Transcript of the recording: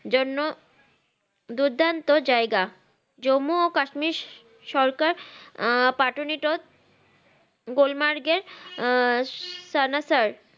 জন্য দুর্দান্ত জায়গা জম্মু ও কাশ্মীর সরকার আহ পাঠনিটত গুলমার্গের আহ সানাসার